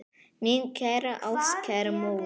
Mín kæra ástkæra móðir.